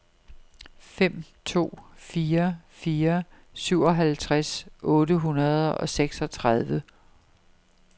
fem to fire fire syvoghalvtreds otte hundrede og seksogtredive